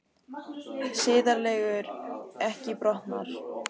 Siðareglur ekki brotnar